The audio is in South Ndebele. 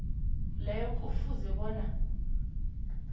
leyo kufuze bona